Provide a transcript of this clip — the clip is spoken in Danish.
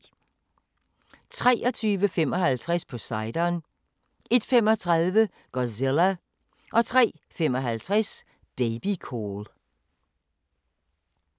23:55: Poseidon 01:35: Godzilla 03:55: Babycall